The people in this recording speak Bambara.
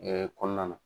kɔnɔna na